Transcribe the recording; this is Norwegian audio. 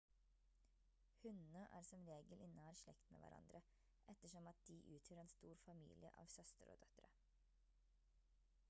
hunnene er som regel i nær slekt med hverandre ettersom at de utgjør en stor familie av søstre og døtre